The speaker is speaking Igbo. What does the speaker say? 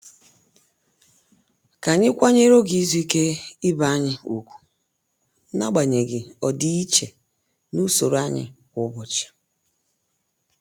Ka anyị kwanyere oge izu ike ibe anyị ùgwù n'agbanyeghị ọdịiche na usoro anyị kwa ụbọchị.